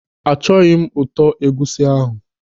Achọghị m ụtọ egwusi ahụ.